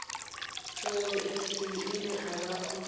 fhungo ithihi ine vha o